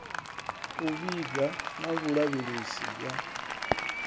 u vhiga na vhulavhelesi ya